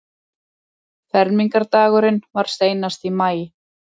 Fermingardagurinn var seinast í maí.